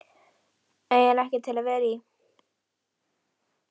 eiginlega ekkert til að vera í.